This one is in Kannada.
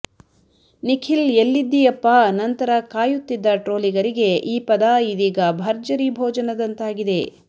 ನಿಖಿಲ್ ಎಲ್ಲಿದಿಯಪ್ಪ ನಂತರ ಕಾಯುತ್ತಿದ್ದ ಟ್ರೋಲಿಗರಿಗೆ ಈ ಪದ ಇದೀಗ ಭರ್ಜರಿ ಭೊಜನದಂತಾಗಿದೆ